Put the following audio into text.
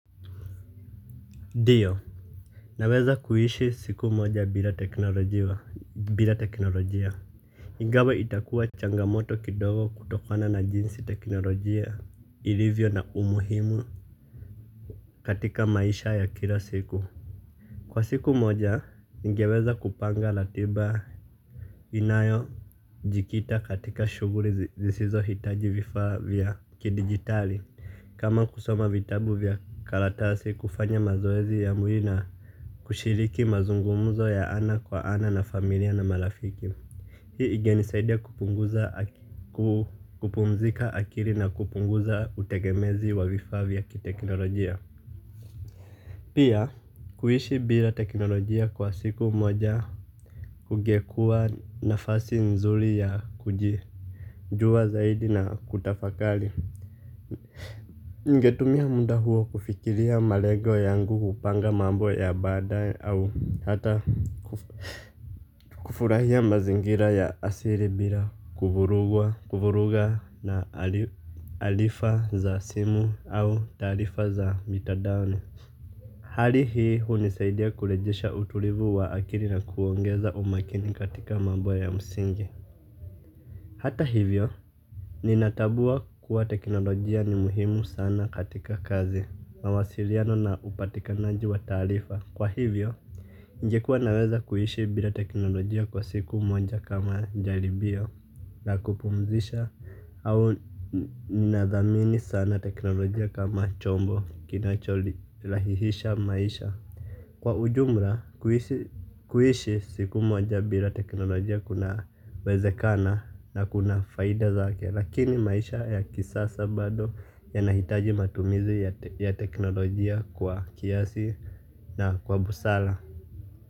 Ndio. Naweza kuishi siku moja bila teknolojia. Ingawa itakuwa changamoto kidogo kutokana na jinsi teknolojia ilivyo na umuhimu katika maisha ya kila siku. Kwa siku moja ningeweza kupanga ratiba inayojikita katika shuguli zisizohitaji vifaa vya kidigitali kama kusoma vitabu vya karatasi kufanya mazoezi ya mwili na. Kushiriki mazungumuzo ya ana kwa ana na familia na marafiki. Hii ingenisaidia kupumzika akili na kupunguza utegemezi wa vifaa vya kiteknolojia. Pia kuishi bila teknolojia kwa siku moja kungekuwa nafasi nzuri ya kujijua zaidi na kutafakari. Ningetumia muda huo kufikiria malengo yangu kupanga mambo ya badae au hata kufurahia mazingira ya asili bila kuvuruga na tarifa za simu au tarifa za mitandaoni. Hali hii hunisaidia kurejesha utulivu wa akili na kuongeza umakini katika mambo ya msingi. Hata hivyo ninatambua kuwa teknolojia ni muhimu sana katika kazi mawasiliano na upatikanaji wa taarifa. Kwa hivyo ningekuwa naweza kuishi bila teknolojia kwa siku moja kama jaribio na kupumzisha au ninathamini sana teknolojia kama chombo kinachorahihisha maisha. Kwa ujumla kuishi siku moja bila teknolojia kunawezekana na kuna faida zake lakini maisha ya kisasa bado yanahitaji matumizi ya teknolojia kwa kiasi na kwa busara.